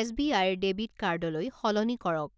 S B আইৰ debit card লৈ সলনি কৰক।